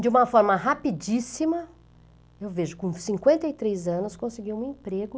De uma forma rapidíssima, eu vejo, com cinquenta e três anos, conseguiu um emprego.